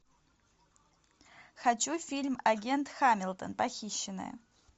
хочу фильм агент хамилтон похищенная